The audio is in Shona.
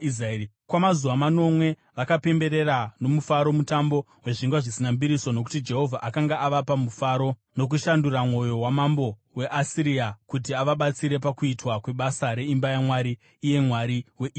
Kwamazuva manomwe vakapemberera nomufaro Mutambo weZvingwa Zvisina Mbiriso, nokuti Jehovha akanga avapa mufaro nokushandura mwoyo wamambo weAsiria, kuti avabatsire pakuitwa kwebasa reimba yaMwari, iye Mwari weIsraeri.